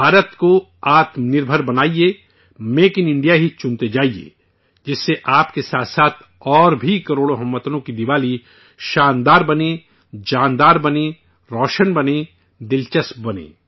بھارت کو آتم نربھر خود کفیل بنائیے، 'میک ان انڈیا' ہی منتخب کرتے جائیے، جس سے آپ کے ساتھ ساتھ اور بھی کروڑوں ہم وطنوں کی دیوالی شاندار بنے، جاندار بنے، روشن بنے، دلچسپ بنے